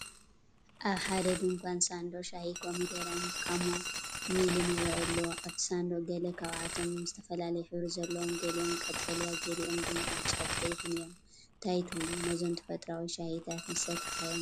ኣብ ሓደ ድኳን ሳንዱቕ ሻሂ ኮሚደረን ካሞሚልን ይረአ ኣሎ። ኣብቲ ሳንዱቕ ገለ ካብኣቶም እውን ዝተፈላለየ ሕብሪ ዘለዎም፣ ገሊኦም ቀጠልያ፣ ገሊኦም ድሙቕ ብጫን ቀይሕን እዮም። እንታይ ትብሉ? ነዞም ተፈጥሮኣዊ ሻሂታት ምሰተኻዮም ዶ?